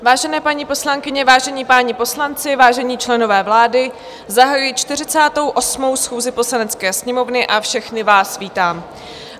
Vážené paní poslankyně, vážení páni poslanci, vážení členové vlády, zahajuji 48. schůzi Poslanecké sněmovny a všechny vás vítám.